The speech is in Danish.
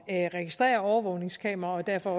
at registrere overvågningskameraer og derfor